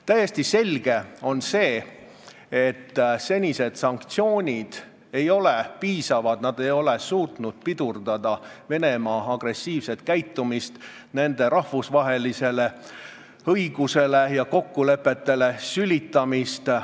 Täiesti selge on, et senised sanktsioonid ei ole piisavad, nad ei ole suutnud pidurdada Venemaa agressiivset käitumist, seda, et ta sülitab rahvusvahelisele õigusele ja rahvusvahelistele kokkulepetele.